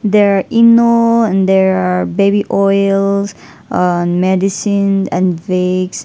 there are eno and there are baby oils and medicine and vicks.